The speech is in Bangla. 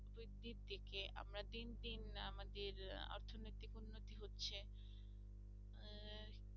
আমরা দিন দিন আমাদের আহ অর্থনীতি উন্নতি হচ্ছে আহ